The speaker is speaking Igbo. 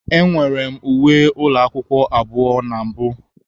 Enwere m uwe ụlọ akwụkwọ abụọ na mbụ.